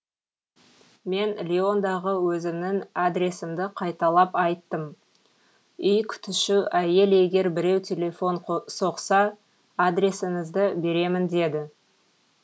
мен лиондағы өзімнің адресімді қайталап айттым үй күтуші әйел егер біреу телефон соқса адресіңізді беремін деді